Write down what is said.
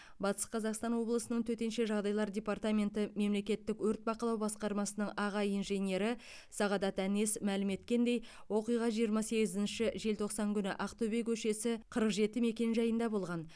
батыс қазақстан облысының төтенше жағдайлар департаменті мемлекеттік өрт бақылау басқармасының аға инженері сағдат әнес мәлім еткендей оқиға жиырма сегізінші желтоқсан күні ақтөбе көшесі қырық жеті мекенжайында болған